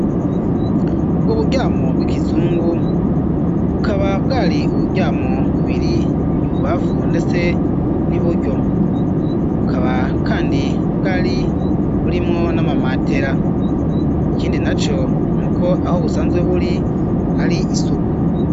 ubwo buryamo bw'ikizungu bukaba bwari uburyamo bubiri ibubafu ndetse niburyo, bukaba kandi bwari burimwo n'amamatera ,ikindi na yo nuko aho busanzwe buri hari isuku.